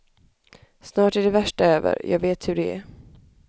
Snart är det värsta över, jag vet hur det är.